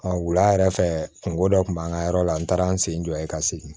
wula yɛrɛ fɛ kungo dɔ kun b'an ka yɔrɔ la n taara n sen jɔ yen ka segin